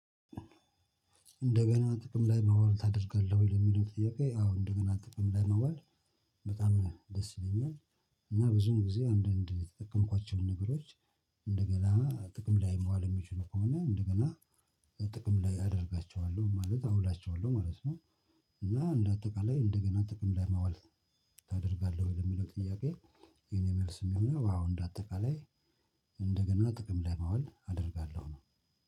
እንደገና ጥቅም ላይ መዋል ታደርጋለህ ወይ ለሚለው ጥያቄ? አዎ እንደገና ጥቅም ላይ መዋል በጣም ደስ ይለኛል እና ብዙም ጊዜ አንዳንድ የተጠቀምኳቸውን ነገሮች። እንደገና ጥቅም ላይ መዋል የሚችሉ ከሆነ እንደገና ጥቅም ላይ አደርጋቸዋለሁ ማለት አውላቸዋለሁ ማለት ነው። እና እንደ አጠቃላይ እንደገና ጥቅም ላይ ማዋል ታደርጋለህ ወይ ለሚለው ጥያቄ? የኔ መልስ የሚሆነው አዎ እንደ አጠቃላይ እንደገና ጥቅም ማዋል አደርጋለሁ ነው።